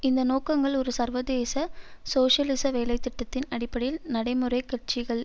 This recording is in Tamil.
இந்த நோக்கங்கள் ஒரு சர்வதேச சோசியலிச வேலை திட்டத்தின் அடிப்படையில் நடைமுறை கட்சிகள்